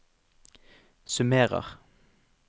summerer